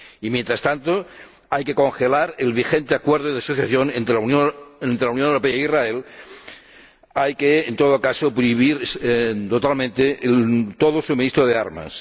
Y, mientras tanto, hay que congelar el vigente Acuerdo de Asociación entre la Unión Europea e Israel. Hay que, en todo caso, prohibir totalmente todo suministro de armas.